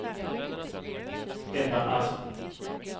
Ebba Asp